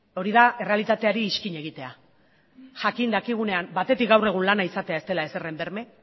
hori da errealitateari izkina egitea jakin dakigunean batetik gaur egun lana izatea ez dela ezeren berme